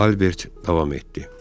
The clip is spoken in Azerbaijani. Albert davam etdi.